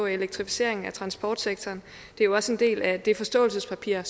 elektrificeringen af transportsektoren det er jo også en del af det forståelsespapir